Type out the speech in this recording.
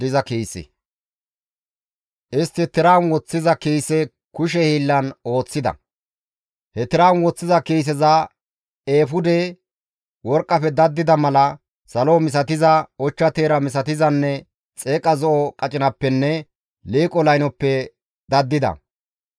Istti tiran woththiza kiise kushe hiillan ooththida. He tiran woththiza kiiseza eefude worqqafe daddida mala, salo misatiza, ochcha teera misatizanne xeeqa zo7o qacinappenne liiqo laynoppe daddida.